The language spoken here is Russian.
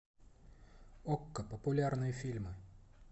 окко популярные фильмы